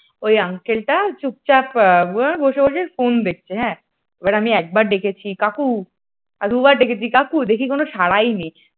ওই uncle টা চুপচাপ বসে বসে ফোন দেখছে হ্যাঁ এবার আমি একবার ডেকেছি কাকু দুবার ডেকেছি কাকু দেখি কোন সাড়াই নেই,